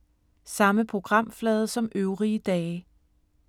Samme programflade som øvrige dage